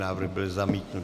Návrh byl zamítnut.